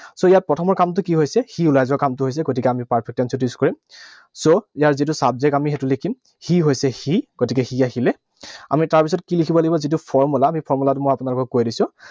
So, ইয়াৰ প্ৰথমৰ কামটো কি হৈছে? সি ওলাই যোৱা কামটো গৈছে। গতিকে আমি perfect tense ত use কৰিম। So, ইয়াৰ যিটো subject, আমি সেইটো লিখিম সি হৈছে he, গতিকে he আহিলে। আমি তাৰপিছত কি লিখিব লাগিব? আমি যিটো formula, সেই formula টো মই আপোনালোকক কৈ দিছো।